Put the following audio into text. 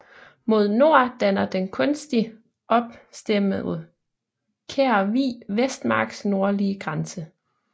Mod nord danner den kunstig opstemmede Kær Vig Vestermarks nordlige grænse